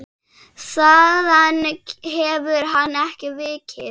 Þaðan hefur hann ekki vikið.